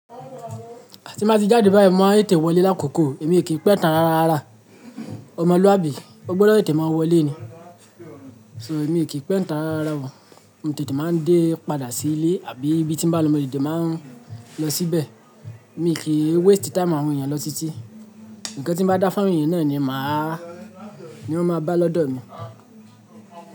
Tí n báa ti jáde báyìí, máa n tete wọlé lákòókò, èmi o kì í pé n tá rárárara. Ọmọlúàbí, ó gbọ́dọ̀ tete máa wọlé ni. So èmi kì í pé tán rárá ò, mo tètè máa dé padà sí ilé àbí ibi tí ń bá lọ, mo tètè máa lọ síbẹ̀. Èmi kì í waste time àwọn èèyàn lọ títí. Ǹkan tí ń bá dá fún èèyàn náà ni má a, ni wọ́n máa bá lọ́dọ̀ mi.